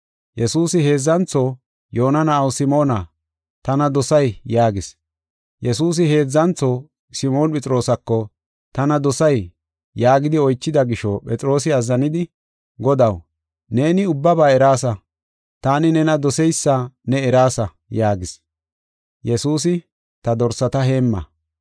Yesuusi heedzantho, “Yoona na7aw Simoona, tana dosay?” yaagis. Yesuusi heedzantho Simoon Phexroosako, “Tana dosay?” yaagidi oychida gisho, Phexroosi azzanidi, “Godaw, neeni ubbaba eraasa; taani nena doseysa ne eraasa” yaagis. Yesuusi, “Ta dorsata heemma.